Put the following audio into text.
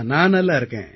நான் நன்றாக இருக்கிறேன்